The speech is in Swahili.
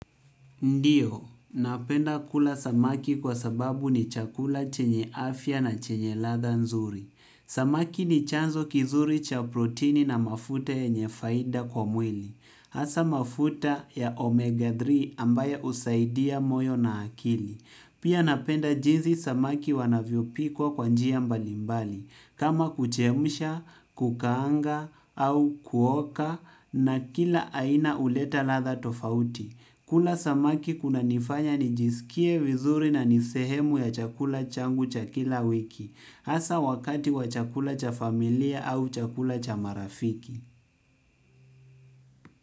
Ndiyo, napenda kula samaki kwa sababu ni chakula chenye afya na chenye ladha nzuri. Samaki ni chanzo kizuri cha proteini na mafute yenye faida kwa mwili. Hasa mafuta ya omega tatu ambaya usaidia moyo na akili. Pia napenda jizi samaki wanavyo pikwa kwa njia mbalimbali. Kama kuchemsha, kukaanga au kuoka na kila aina huleta ladha tofauti kula samaki kuna nifanya nijisikie vizuri na nisehemu ya chakula changu cha kila wiki hasa wakati wa chakula cha familia au chakula cha marafiki.